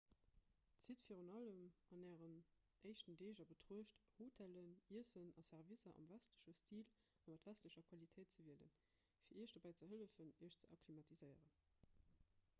zitt virun allem an ären éischten deeg a betruecht hotellen iessen a servicer am westleche stil a mat westlecher qualitéit ze wielen fir iech dobäi ze hëllefen iech ze akklimatiséieren